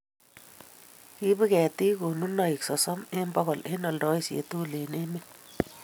kiibu ketik konunoik sosom eng' bokol eng' oldoisie tugul eng' emet.